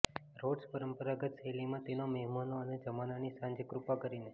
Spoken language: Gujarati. રોડ્સ પરંપરાગત શૈલીમાં તેના મહેમાનો અને જમાનાની સાંજે કૃપા કરીને